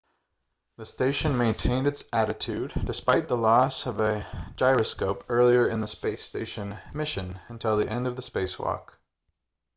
the station maintained its attitude despite the loss of a gyroscope earlier in the space station mission until the end of the spacewalk